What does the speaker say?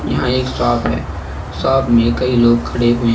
यहां एक शॉप है शॉप में कई लोग खड़े हुए हैं।